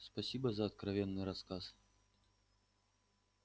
спасибо за откровенный рассказ